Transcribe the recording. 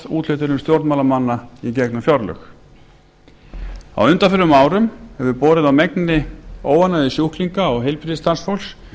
úthlutunum stjórnmálamanna í gegnum fjárlög á undanförnum árum hefur borið á megnri óánægju sjúklinga og heilbrigðisstarfsfólks